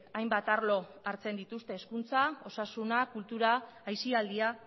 hainbat arlo hartzen dituzte hezkuntza osasuna kultura aisialdia